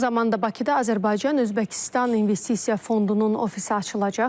Yaxın zamanda Bakıda Azərbaycan Özbəkistan investisiya fondunun ofisi açılacaq.